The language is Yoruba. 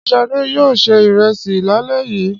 Ṣé Ṣadé yóò se ìrẹsì lálẹ́ yìí?